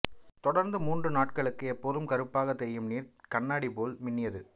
தொடர்ந்து மூன்று நாட்களுக்கு எப்போதும் கறுப்பாக தெரியும் தண்ணீர் கண்ணாடி போல் மின்னியது